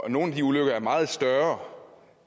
i nogle af de ulykker er meget større